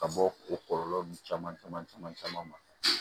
Ka bɔ o kɔlɔlɔ nun caman caman caman caman ma